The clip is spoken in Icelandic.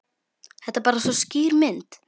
Þetta er bara svo skýr mynd.